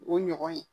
O ɲɔgɔn ye